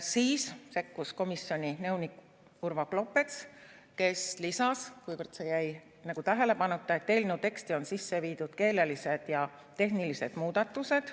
Siis sekkus komisjoni nõunik Urvo Klopets, kes lisas, kuivõrd see jäi nagu tähelepanuta, et eelnõu teksti on sisse viidud keelelised ja tehnilised muudatused.